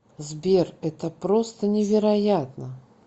сбер это просто невероятно